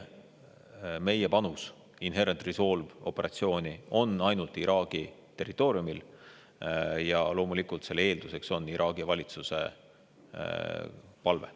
Meie panus Inherent Resolve'i operatsiooni on ainult Iraagi territooriumil ja loomulikult selle eelduseks on Iraagi valitsuse palve.